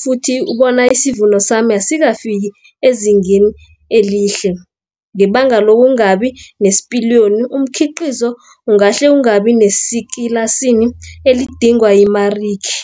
futhi bona isivuno sami asikafiki ezingeni elihle, ngebanga lokungabi nespiliyoni umkhiqizo ungahle ungabi nesekela sini elidingwa yimariki